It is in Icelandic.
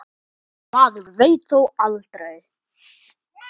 Maður veit þó aldrei.